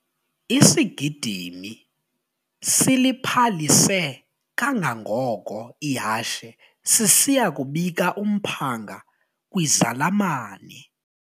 Isigidimi siliphalise kangangoko ihashe sisiya kubika umphanga kwizalamane.